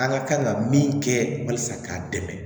An ka kan ka min kɛ walasa k'a dɛmɛ